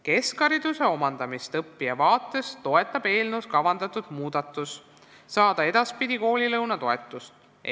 Keskhariduse omandamist õppija vaates toetab eelnõus kavandatud muudatus saada edaspidi koolilõunatoetust.